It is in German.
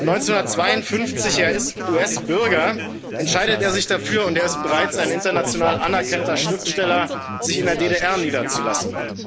1952 er ist US Bürger entscheidet er sich dafür und er ist bereits ein international anerkannter Schriftsteller sich in der DDR niederzulassen.